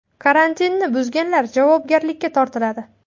Karantinni buzganlar javobgarlikka tortiladi.